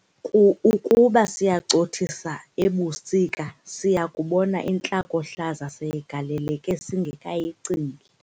- ukuba siyacothisisa ebusika siya kubona intlakohlaza seyigaleleke singekayicingi.